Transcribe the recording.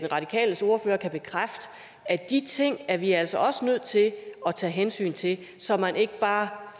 radikales ordfører kan bekræfte at de ting er vi altså også nødt til at tage hensyn til så man ikke bare